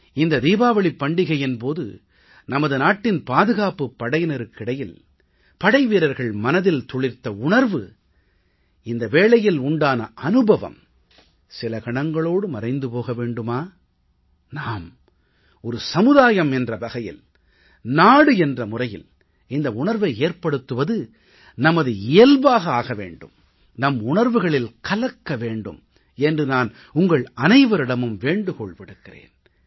இந்த தீபாவளிப் பண்டிகையின் போது நமது நாட்டின் பாதுகாப்புப் படையினருக்கிடையில் படைவீரர்கள் மனதில் துளிர்த்த உணர்வு இந்த வேளையில் உண்டான அனுபவம் சில கணங்களோடு மறைந்து போக வேண்டுமா நாம் ஒரு சமுதாயம் என்ற வகையில் நாடு என்ற முறையில் இந்த உணர்வை ஏற்படுத்துவது நமது இயல்பாக ஆக வேண்டும் நம் உணர்வுகளில் கலக்க வேண்டும் என்று நான் உங்கள் அனைவரிடமும் வேண்டுகோள் விடுக்கிறேன்